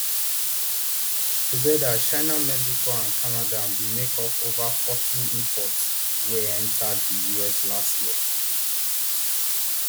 togeda china mexico and canada bin make up ova forty imports wey enta di us last year